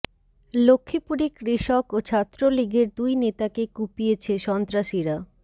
লক্ষ্মীপুরে কৃষক ও ছাত্র লীগের দুই নেতাকে কুপিয়েছে সন্ত্রাসীরা